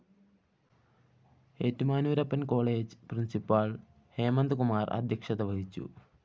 Ettumanoorappan‍ college principal‍ Hemanth Kumar‍ അദ്ധ്യക്ഷത വഹിച്ചു